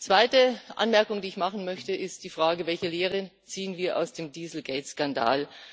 Die zweite Anmerkung, die ich machen möchte, ist die Frage Welche Lehre ziehen wir aus dem Dieselgate Skandal?